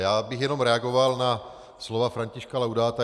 Já bych jenom reagoval na slova Františka Laudáta.